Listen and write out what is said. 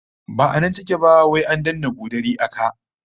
Ba nan take ba, wai an danne bodari a ka